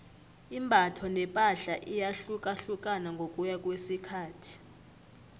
imbatho nepahla iyahlukahlukana ngokuya ngokwesikhathi